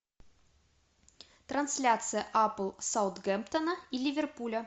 трансляция апл саутгемптона и ливерпюля